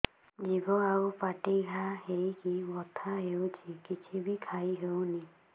ଜିଭ ଆଉ ପାଟିରେ ଘା ହେଇକି ବଥା ହେଉଛି କିଛି ବି ଖାଇହଉନି